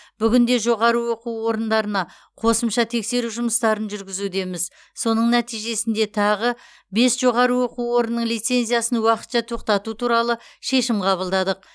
бүгінде жоғары оқу орындарына қосымша тексеру жұмыстарын жүргізудеміз соның нәтижесінде тағы бес жоғары оқу орынның лицензиясын уақытша тоқтату туралы шешім қабылдадық